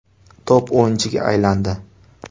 Top o‘yinchiga aylandi.